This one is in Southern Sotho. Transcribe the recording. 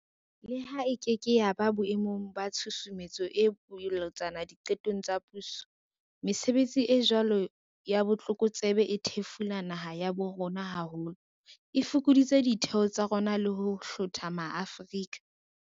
Leha e keke ya ba boe mong ba tshusumetso e bolotsana diqetong tsa puso, mesebetsi e jwalo ya botlokotsebe e thefula naha ya bo rona haholo, e fokodisa ditheo tsa rona le ho hlotha maAfrika